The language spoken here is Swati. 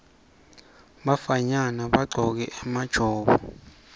bafanyana bagcoke emajobo